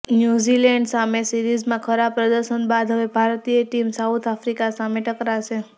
New Zealand સામે સીરીઝમાં ખરાબ પ્રદર્શન બાદ હવે ભારતીય ટીમ સાઉથ આફ્રિકા સામે ટકરાશે